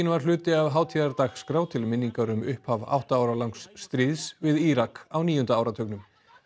var hluti af hátíðardagskrá til minningar um upphaf átta ára langs stríðs við Írak á níunda áratugnum